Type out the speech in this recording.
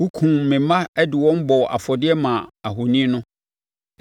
Wokumm me mma de wɔn bɔɔ afɔdeɛ maa ahoni no.